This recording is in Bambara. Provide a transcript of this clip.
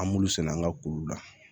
An b'olu sɛnɛ an ka kow la